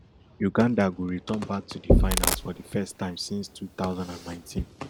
uganda go return back to di finals for di first time since two thousand and nineteen